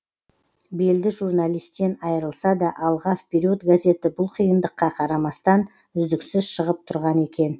белді журналистен айрылса да алға вперед газеті бұл қиындыққа қарамастан үздіксіз шығып тұрған екен